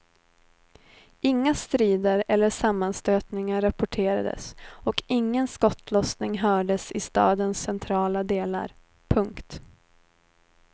Inga strider eller sammanstötningar rapporterades och ingen skottlossning hördes i stadens centrala delar. punkt